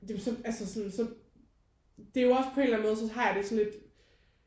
Det er jo så altså så det er jo også på en eller anden måde så har jeg det lidt